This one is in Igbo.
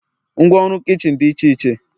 Ngwa ọrụ kichin dị iche iche